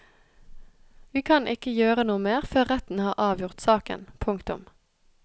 Vi kan ikke gjøre noe mer før retten har avgjort saken. punktum